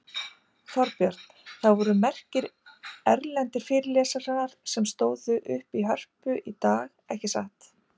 Þorbjörn, það voru merkir erlendir fyrirlesarar sem tróðu upp í Hörpu í dag, ekki satt?